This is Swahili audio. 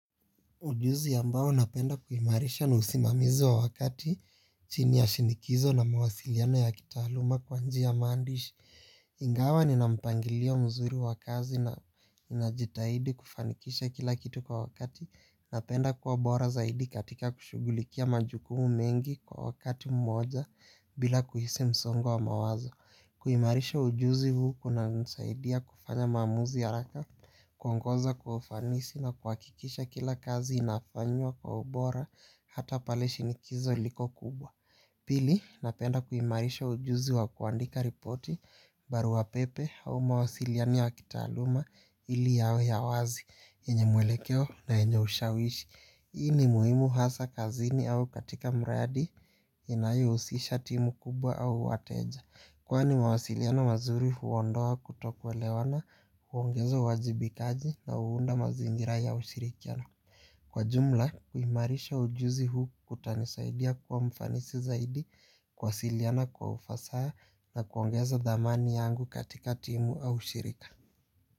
Ujuzi yambao napenda kuimarisha na usimamizi wa wakati chini ya shinikizo na mawasiliano ya kitahaluma kwa njiya mandish. Ingawa nina mpangilio mzuri wa kazi na ninajitahidi kufanikisha kila kitu kwa wakati. Napenda kuwa bora zaidi katika kushugulikia majukumu mengi kwa wakati mmoja bila kuhisi msongo wa mawazo. Kuimarisha ujuzi huu kuna nsaidia kufanya mamuzi ya haraka kuwonkoza kwa ufanisi na kwakikisha kila kazi inafanywa kwa ubora hata pale shinikizo liko kubwa. Pili napenda kuimarisha ujuzi wa kuandika ripoti baruwa pepe au mawasiliano ya kitaluma ili yawe ya wazi enye mwelekeo na enye ushawishi. Hii ni muhimu hasa kazini au katika mradi inayo usisha timu kubwa au wateja. Kwani mawasiliano mazuri huondoa kutokwelewana, huongeza wajibikaji na huunda mazingira ya ushirikiano. Kwa jumla, kuhimarisha ujuzi huu kutanisaidia kwa mfanisi zaidi, kuwasiliana kwa ufasaha na kuongeza damani yangu katika timu au ushirika.